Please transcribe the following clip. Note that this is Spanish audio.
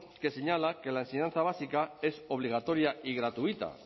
que señala que la enseñanza básica es obligatoria y gratuita